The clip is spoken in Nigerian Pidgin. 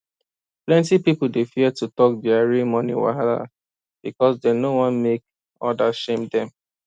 plenty pipo dey fear to talk dia real money wahala because dem no wan make others shame dem